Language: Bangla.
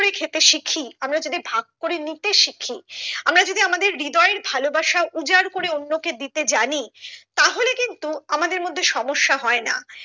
ভাগ করে খেতে শিখি আমরা যদি ভাগ করে নিতে শিখি আমরা যদি আমাদের হৃদয়ের ভালোবাসা উজাড় করে অন্যকে দিতে জানি তাহলে কিন্তু আমাদের মধ্যে সমস্যা হয় না